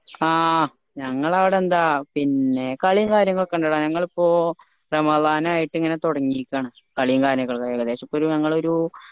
ആ ഞങ്ങളെ അവിടെ എന്താ പിന്നെ കളിയും കാര്യങ്ങളൊക്കെയുണ്ടെടാ ഞങ്ങൾ ഇപ്പൊ റമദാനായിട്ട് ഇങ്ങനെ തൊടങ്ങീക്കാണ് കളിയും കാര്യങ്ങളും ഏകദേശം ഇപ്പൊ ഞങ്ങൾ ഒരു